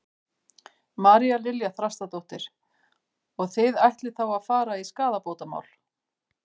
María Lilja Þrastardóttir: Og þið ætlið þá að fara í skaðabótamál?